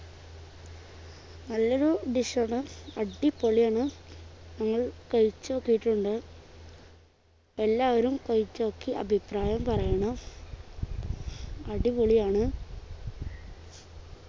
നല്ലൊരു dish ആണ് അടിപൊളിയാണ് ഞങ്ങൾ കഴിച്ചു നോക്കിട്ടുണ്ട് എല്ലാവരും കഴിച്ചു നോക്കി അഭിയപ്രായം പറയണം അടിപൊളിയാണ്